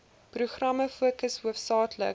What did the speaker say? programme fokus hoofsaaklik